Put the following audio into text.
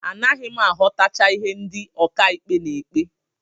Anaghị m aghọtacha ihe ndị ọkàikpe na-ekpe